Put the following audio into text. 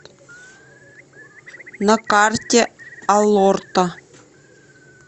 на карте алорто